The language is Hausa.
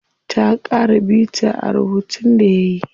Ta ƙara bita rubuntun da yayi.